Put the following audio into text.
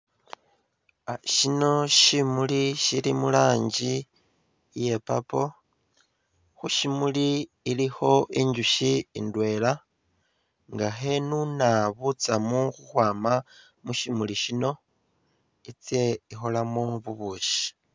Shono shimuli shili mu rangi iya purple, khu shimuli khulikho injusyi indwela nga khenuna butsamu khukhwama mu syimuli shino itsye ikholemu bubusyi.